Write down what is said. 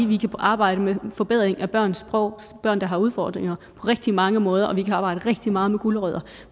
vi kan arbejde med forbedring af børns sprog børn der har udfordringer på rigtig mange måder og vi kan arbejde rigtig meget med gulerødder